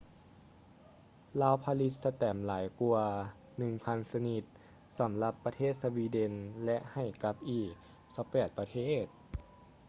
ລາວຜະລິດສະແຕັມຫຼາຍກວ່າ 1,000 ຊະນິດ ສຳລັບປະເທດສະວີເດັນ ແລະ ໃຫ້ກັບອີກ 28 ປະເທດ